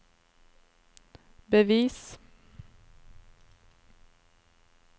bevis